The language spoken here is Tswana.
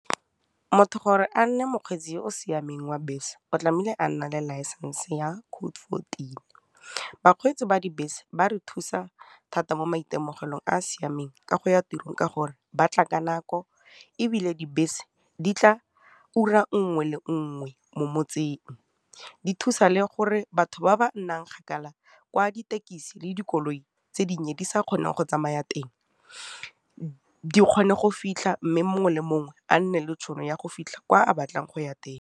Motho gore a nne mokgweetsi yo o siameng wa bese o tlamehile a nna le license ya code fourteen. Bakgweetsi ba dibese ba re thusa thata mo maitemogelong a a siameng ka go ya tirong ka gore, batla ka nako ebile dibese di tla ura nngwe le nngwe mo motseng, di thusa le gore batho ba ba nnang kgakala gwa dithekisi le dikoloi tse dinnye di sa kgoneng go tsamaya teng di kgone go fitlha mme mongwe le mongwe a nne le tšhono ya go fitlha kwa a batlang go ya teng.